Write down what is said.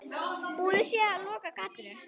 Búið sé að loka gatinu.